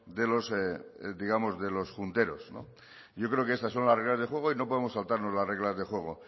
de los junteros yo creo que estas son las reglas del juego y no podemos saltarnos las reglas del juego